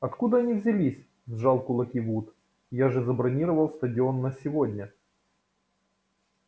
откуда они взялись сжал кулаки вуд я же забронировал стадион на сегодня